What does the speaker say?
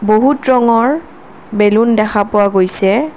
বহুত ৰঙৰ বেলুন দেখা পোৱা গৈছে।